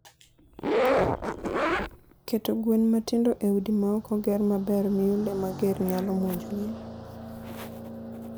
Keto gwen matindo e udi ma ok oger maber miyo le mager nyalo monjogi.